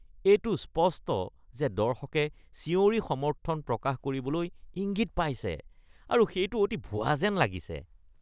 এইটো স্পষ্ট যে দৰ্শকে চিঞৰি সমৰ্থন প্ৰকাশ কৰিবলৈ ইংগিত পাইছে আৰু সেইটো অতি ভুৱা যেন লাগিছে।